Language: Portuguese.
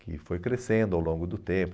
Que foi crescendo ao longo do tempo.